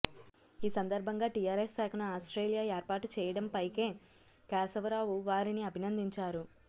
ఈ సందర్భంగా టీఆర్ఎస్ శాఖను ఆస్ట్రేలియా ఏర్పాటు చేయడంపై కే కేశవరావు వారిని అభినందించారు